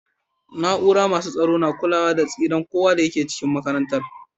Naúrar masu tsaro na kulawa da tsiran kowa da ke cikin makarantan.